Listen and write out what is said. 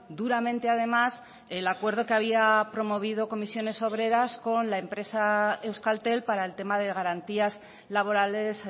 duramente además el acuerdo que había promovido comisiones obreras con la empresa euskaltel para el tema de garantías laborales